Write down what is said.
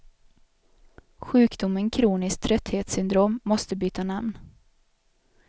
Sjukdomen kroniskt trötthetssyndrom måste byta namn.